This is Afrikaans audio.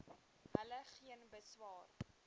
hulle geen beswaar